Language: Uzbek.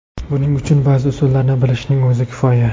Buning uchun ba’zi usullarni bilishning o‘zi kifoya.